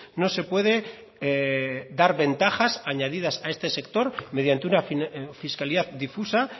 no se puede dar ventajas añadidas a este sector mediante una fiscalidad difusa